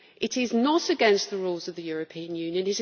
It is not against the rules of the European Union.